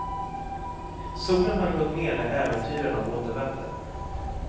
Solen hade gått ned när äventyrarna återvände.